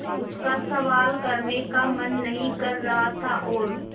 उसका सवाल करने का मन नहीं कर रहा था और